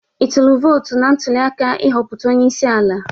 Ịtụlu vootụ na ntuliaka ị hopụta onyeisi ala?